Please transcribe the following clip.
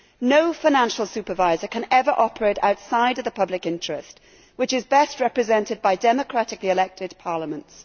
No financial supervisor can ever operate outside of the public interest, which is best represented by democratically elected parliaments.